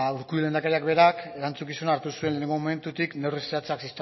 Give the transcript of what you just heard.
urkullu lehendakariak berak erantzukizuna hartu zuen lehenengo momentutik neurri zehatzak